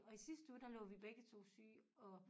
Og i sidste uge der lå vi begge 2 syge og